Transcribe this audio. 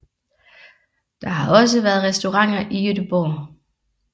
Der har også været restauranter i Gøteborg